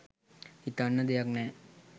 හිතන්න දෙයක් නෑ